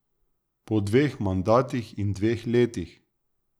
Po dveh mandatih in dveh letih.